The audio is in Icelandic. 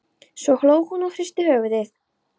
Svo hló hún og hristi höfuðið.